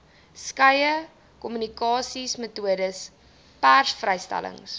skeie kommunikasiemetodes persvrystellings